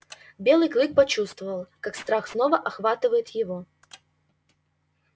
белый клык почувствовал как страх снова охватывает его